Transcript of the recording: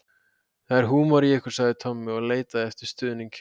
Það er húmor í ykkur sagði Tommi og leitaði eftir stuðningi hjá